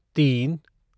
तीन